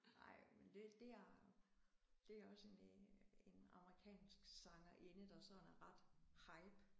Ej men det det er det er også en øh en amerikansk sangerinde der sådan er ret hype